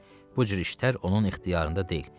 Bu cür işlər onun ixtiyarında deyil.